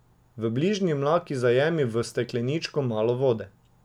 V bližnji mlaki zajemi v stekleničko malo vode.